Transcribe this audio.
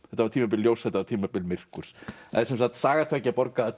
þetta var tímabil ljóss þetta var tímabil myrkurs það er sem sagt Saga tveggja borga a